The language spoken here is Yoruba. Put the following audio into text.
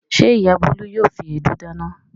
Ṣé ìyá Bólú yóò fi èédú dáná?